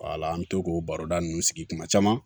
Wala an bɛ to k'o baroda ninnu sigi kuma caman